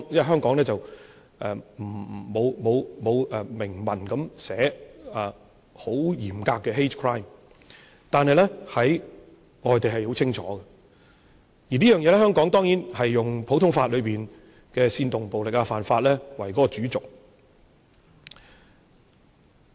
香港沒有嚴格以明文規定 hate crime， 但在外地是很清楚，而香港當然是用普通法的煽動暴力的罪行為主軸。